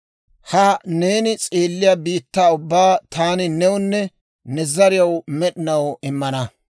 Ha neeni s'eelliyaa biittaa ubbaa taani newunne ne zariyaw med'inaw immana;